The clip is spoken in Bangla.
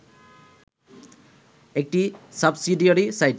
একটি সাবসিডিয়ারি সাইট